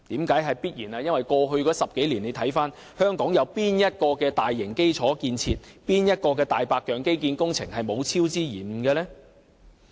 這是因為過去10年，香港有哪項大型基礎建設和"大白象"基建工程沒有超支和延誤？